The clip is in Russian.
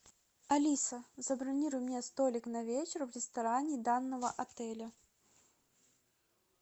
алиса забронируй мне столик на вечер в ресторане данного отеля